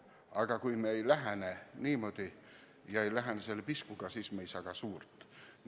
Aga kui me ei lähene niimoodi, ei lähene selle piskugagi, siis me ei saa ka suurt.